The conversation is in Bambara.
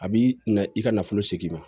A b'i na i ka nafolo segin ma